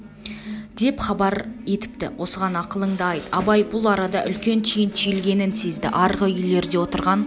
деп хабар етіпті осыған ақылыңды айт абай бұл арада үлкен түйін түйілгенін сезді арғы үйлерде отырған